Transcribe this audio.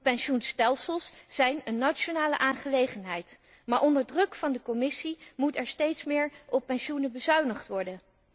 Pensioenstelsels zijn een nationale aangelegenheid, maar onder druk van de Commissie moet er steeds meer op pensioenen bezuinigd worden.